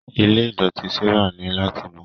Ilé idọti Sarah ni lati mọ.